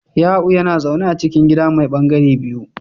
Ya'u yana zaune a cikin gida mai ɓangare biyu